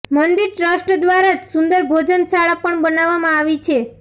મંદિર ટ્રસ્ટ દ્વારા જ સુંદર ભોજનશાળા પણ બનાવવામાં આવી છે